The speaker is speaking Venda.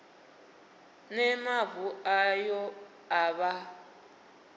ne mavu ayo a vha